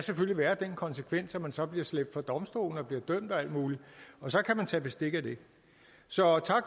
være den konsekvens at man så bliver slæbt for domstolen og bliver dømt og alt muligt og så kan man tage bestik af det så tak